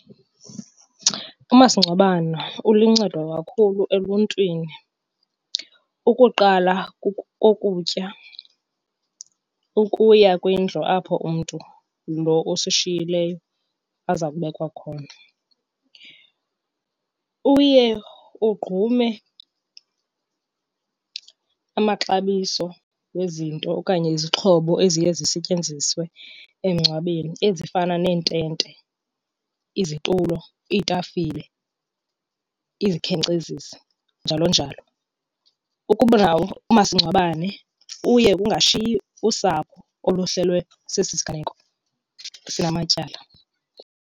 Umasingcwabano uluncedo kakhulu eluntwini, ukuqala kokutya ukuya kwindlu apho umntu lo usishiyileyo aza kubekwa khona. Uye ugqume amaxabiso wezinto okanye izixhobo eziye zisetyenziswe emngcwabeni ezifana neentente, izitulo, iitafile, izikhenkcezisi njalo njalo. Ukuba nawo umasingcwabane uye kungashiyi usapho oluhlelwe sesi siganeko sinamatyala.